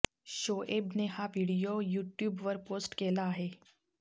शोएबने हा video YouTube वर post केला आहे